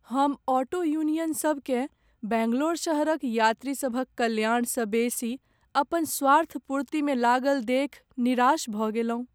हम ऑटो यूनियनसभकेँ बैंगलोर शहरक यात्रीसभक कल्याणसँ बेसी अपन स्वार्थपूर्तिमे लागल देखि निराश भऽ गेलहुँ।